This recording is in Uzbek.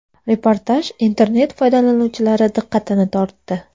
Reportaj internet foydalanuvchilari diqqatini tortdi.